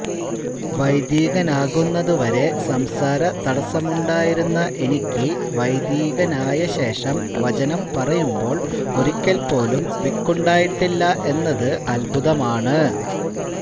വൈദികനാകുന്നതുവരെ സംസാര തടസമുണ്ടായിരുന്ന എനിക്ക് വൈദികനായശേഷം വചനം പറയുമ്പോള് ഒരിക്കല്പോലും വിക്കുണ്ടായിട്ടില്ല എന്നത് അത്ഭുതമാണ്